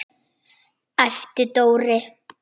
æpti Dóri.